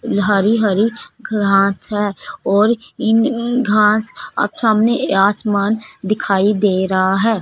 हरी हरी घास है और इन अअ घास अ सामने आसमान दिखाई दे रहा है।